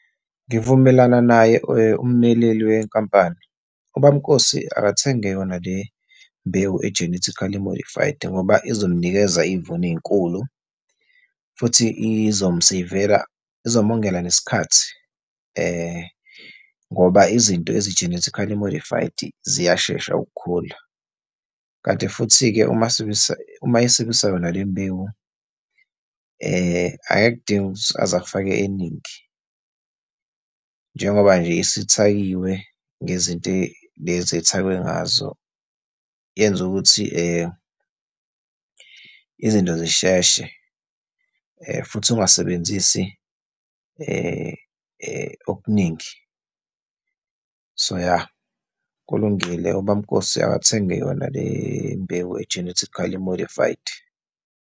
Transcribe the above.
Ngivumelana naye ummeleleli wenkampani. Ubaba uNkosi akathenge yona le mbewu e-genetically modified, ngoba izomnikeza izivuno ey'nkulu futhi izomseyivela, izomongela nesikhathi, ngoba izinto ezi-genetically modified ziyashesha ukukhula. Kanti futhi-ke uma uma esebenzisa yona le mbewu akakudingi ukuthi aze afake eningi, njengoba nje isithakiwe ngezinto lezi ethakwe ngazo. Yenza ukuthi izinto zisheshe, futhi ungasebenzisi okuningi. So ya, kulungile, ubaba uNkosi akathengi yona le mbewu e-genetically modified.